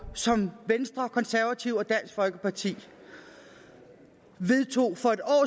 som venstre konservative og dansk folkeparti vedtog for et år